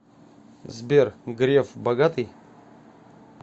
сбер греф богатый